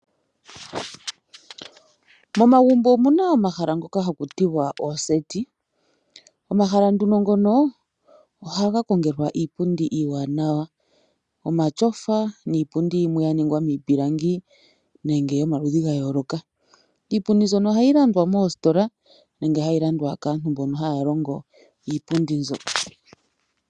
Momagumbo omuna omahala ngoka haku tiwa oseti. Omahala nduno ngono ohaga kongelwa iipundi iiwaanawa omatyofa niipundi yimwe ya ningwa miipilangi nenge yomaludhi ga yooloka. Iipundi mbyono ohayi landwa moositola nenge hayi landwa kaantu mbono haya longo iipundi mbyo.